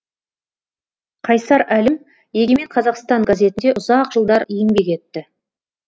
қайсар әлім егемен қазақстан газетінде ұзақ жылдар еңбек етті